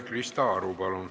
Krista Aru, palun!